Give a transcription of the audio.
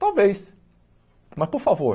Talvez, mas por favor,